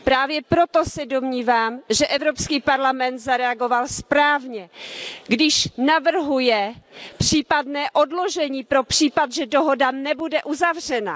Právě proto se domnívám, že Evropský parlament zareagoval správně, když navrhuje případné odložení pro případ, že dohoda nebude uzavřena.